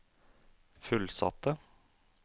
fullsatte